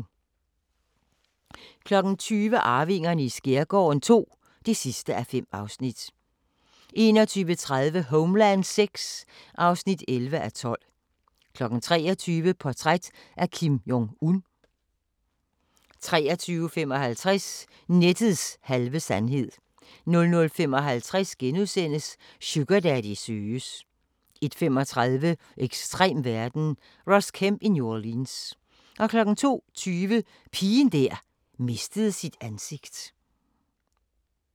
20:00: Arvingerne i skærgården II (5:5) 21:30: Homeland VI (11:12) 23:00: Portræt af Kim Jong-un 23:55: Nettets halve sandhed 00:55: Sugardaddy søges * 01:35: Ekstrem verden – Ross Kemp i New Orleans 02:20: Pigen der mistede sit ansigt